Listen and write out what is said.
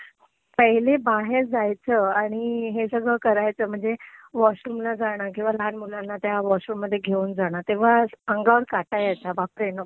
पहिले बाहेर जायचं आणि हे सगळं करायचं म्हणजे वॉशरूमला जाणं किंवा लहान मुलांना त्या वॉशरूममध्ये घेऊन जाणं, तेव्हा अंगावर काटा यायचा. बापरे, नको.